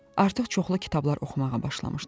Artıq çoxlu kitablar oxumağa başlamışdım.